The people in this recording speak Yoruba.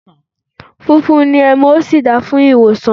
Funfun ni ẹmu, ó sì da fún ìwòsàn.